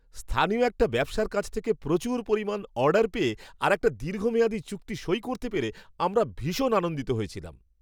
স্থানীয় একটা ব্যবসার কাছ থেকে প্রচুর পরিমাণ অর্ডার পেয়ে আর একটা দীর্ঘমেয়াদি চুক্তি সই করতে পেরে আমরা ভীষণ আনন্দিত হয়েছিলাম।